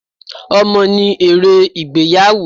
Ọmọ ni èrè ìgbéyàwó.